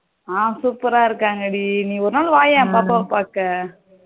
ஆஹ் super ஆ இருக்காங்க டி நீ ஒருநாள் வாயேன் பாப்பாவ பாக்க